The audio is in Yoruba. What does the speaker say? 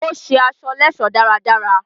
Ó ṣe aṣọ lẹ́ẹ̀sọ́ dáradára